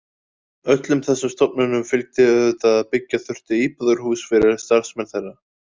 Öllum þessum stofnunum fylgdi auðvitað að byggja þurfti íbúðarhús yfir starfsmenn þeirra.